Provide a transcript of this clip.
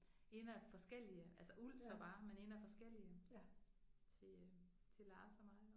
En af forskellige altså uld så bare men en af forskellige. Til til Lars og mig